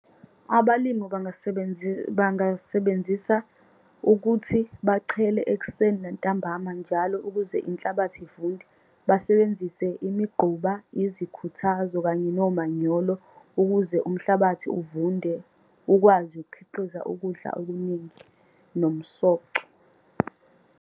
Abalimu bangasebenzisa ukuthi bachele ekuseni nantambama njalo, ukuze inhlabathi ivunde. Basebenzise imigquba, izikhuthazo, kanye nomanyolo ukuze umhlabathi uvunde, ukwazi ukukhiqiza ukudla okuningi, nomsoco.